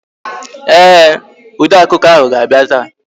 Ee, odeakụkọ ahụ ga-abịa taa